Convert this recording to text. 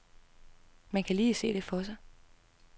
Man kan lige se det for sig.